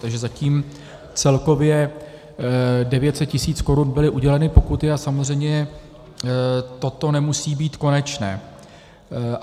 Takže zatím celkově 900 tisíc korun byly uděleny pokuty, A samozřejmě toto nemusí být konečné.